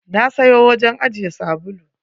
Na siyo wajen ajiye sabulu.